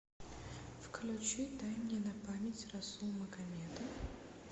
включить дай мне на память расул магомедов